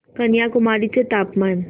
कन्याकुमारी चे तापमान